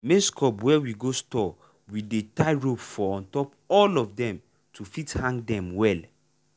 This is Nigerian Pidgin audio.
maize cob wey we go store we dey tie rope for untop all of dem to fit hang dem well.